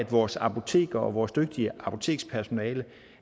vores apoteker og vores dygtige apotekspersonale